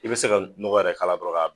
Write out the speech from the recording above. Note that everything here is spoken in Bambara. I bɛ se ka nɔgɔ yɛrɛ k'a la dɔrɔn k'a b